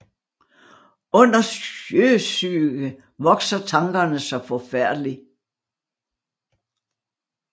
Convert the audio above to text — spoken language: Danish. Under Sjøsyge vokser Tankerne saa forfærdelig